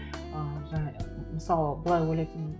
ыыы мысалы былай ойлайтынмын